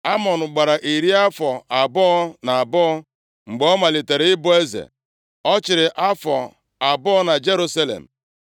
Amọn gbara iri afọ abụọ na abụọ mgbe ọ malitere ịbụ eze. Ọ chịrị afọ abụọ na Jerusalem.